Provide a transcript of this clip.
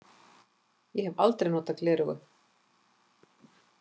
Ég hef aldrei notað gleraugu.